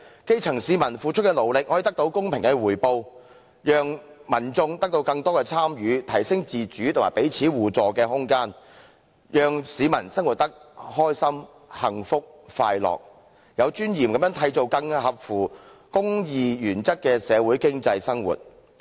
基層市民付出的勞力可獲公平的回報，讓民眾得到更多參與，提升自主和彼此互助的空間，讓市民生活得開心、幸福、快樂，有尊嚴地締造合乎公義原則的社會經濟生活。